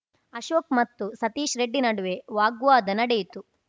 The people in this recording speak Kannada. ಅಶೋಕ್‌ ಮತ್ತು ಸತೀಶ್‌ರೆಡ್ಡಿ ನಡುವೆ ವಾಗ್ವಾದ ನಡೆಯಿತು